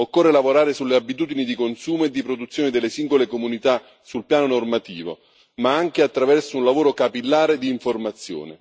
Occorre lavorare sulle abitudini di consumo e di produzione delle singole comunità sul piano normativo, ma anche attraverso un lavoro capillare di informazione.